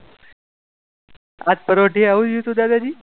આજ પરોઢિયે શું થયું તું દાદાજી?